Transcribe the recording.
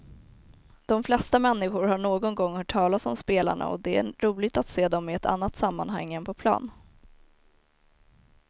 De flesta människor har någon gång hört talas om spelarna och det är roligt att se dem i ett annat sammanhang än på plan.